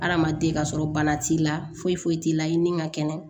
Hadamaden ka sɔrɔ bana t'i la foyi foyi t'i la i ni ka kɛnɛ